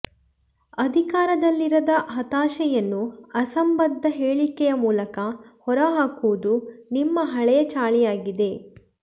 ಅಧಿಕಾರದಲ್ಲಿರದ ಹತಾಶೆಯನ್ನು ಅಸಂಭದ್ಧ ಹೇಳಿಕೆಯ ಮೂಲಕ ಹೊರಹಾಕುವುದು ನಿಮ್ಮ ಹಳೆಯ ಚಾಳಿಯಾಗಿದೆ